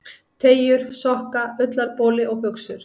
Teygjur, sokka, ullarboli og buxur.